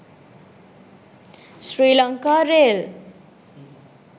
sri lanka rail